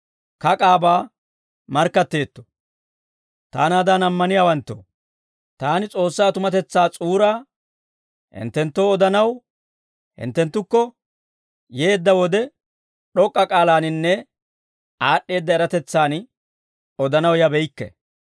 Taanaadan ammaniyaawanttoo, taani S'oossaa tumatetsaa s'uuraa hinttenttoo odanaw hinttenttukko yeedda wode, d'ok'k'a k'aalaaninne aad'd'eedda eratetsaan odanaw yabeykke.